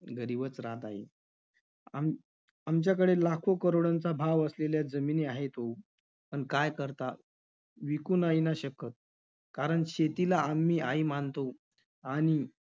गरीबच राहत आहे. आम~ आमच्याकडे लाखो- करोडोंचा भाव असलेल्या जमिनी आहेत हो. पण काय करता? विकू नाही ना शकत. कारण शेतीला आम्ही आई मानतो. आणि